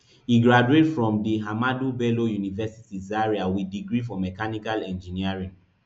e graduate for from di ahmadu bello university zaria wit degree for mehanical engineering